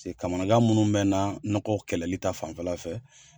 paseke kamanagan minnu be n na nɔgɔ kɛlɛli ta fanfɛla fɛ